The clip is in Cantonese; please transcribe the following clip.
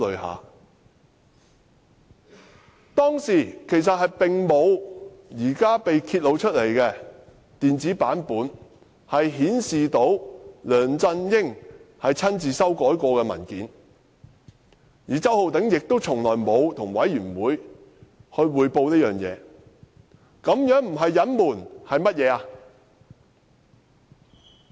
我們當時並沒有現時被揭發的電子版本，顯示梁振英曾親自修改該份文件，而周浩鼎議員亦從沒有向專責委員會匯報此事，這不是隱瞞又是甚麼？